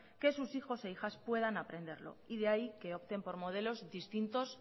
que sus hijos e hijas puedan aprenderlo y de ahí que opten por modelos distintos